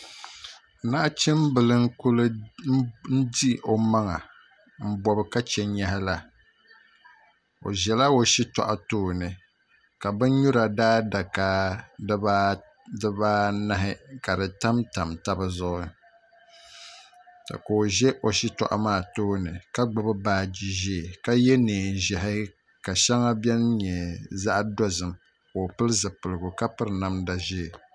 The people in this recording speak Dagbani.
Nachimbili n ku di o maŋa n bob ka chɛ nyaɣa la o ƶɛla o shitoɣu tooni ka bin nyura daadaka dibaanahi ka di tamtam tabi zuɣu ka o ʒɛ o shitoɣu maa tooni ka gbubi baaji ʒiɛ ka yɛ neen ʒiɛhi ka shɛŋa biɛni nyɛ zaɣ dozim ka o pili zipiligu ka piri namda ʒiɛ